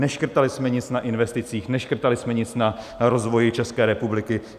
Neškrtali jsme nic na investicích, neškrtali jsme nic na rozvoji České republiky.